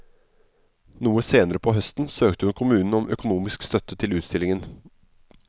Noe senere på høsten søkte hun kommunen om økonomisk støtte til utstillingen.